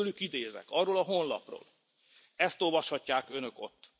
Most tőlük idézek, arról a honlapról, ezt olvashatják Önök ott